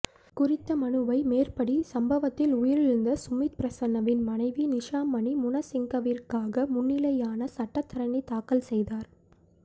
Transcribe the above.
குறித்த மனுவை மேற்படி சம்பவத்தில் உயிரிழந்த சுமித் பிரசன்னவின் மனைவி நிஷாமனி முனசிங்கவிற்காக முன்னிலையான சட்டத்தரணி தாக்கல் செய்தார்